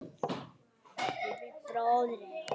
Hann Bubbi bróðir er látinn.